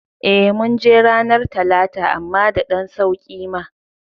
Eh ,munje ranar talata amma da ɗan sauƙi ma